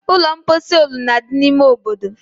Ụlọ mposi olulu na-adị n'ime obodo